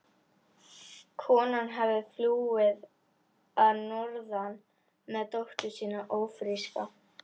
Konan hafði flúið að norðan með dóttur sína ófríska.